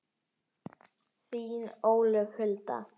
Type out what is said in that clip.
Þín, Ólöf Hulda.